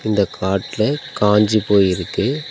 இந்த காட்டுல காஞ்சி போய் இருக்கு.